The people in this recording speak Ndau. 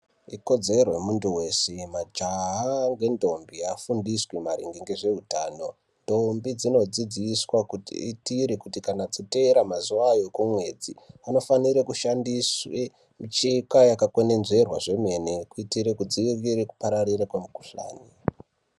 Ikodzero yemuntu wese majaha ngendombi vafundiswe maringe ngezveutano ndombi dzinodzidziswa kuti iitire kana dzoteera mazuva ayo ekumwedzi panofanire kushandiswa micheka yakakwenenzverwa kwemene kuitire kuti dzirigere kupararira kwemukuhlani .